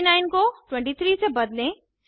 49 को 23 से बदलें